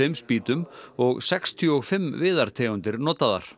spýtum og sextíu og fimm viðartegundir notaðar